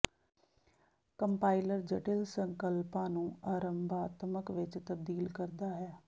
compiler ਜਟਿਲ ਸੰਕਲਪਾਂ ਨੂੰ ਆਰੰਭਾਤਮਕ ਵਿਚ ਤਬਦੀਲ ਕਰਦਾ ਹੈ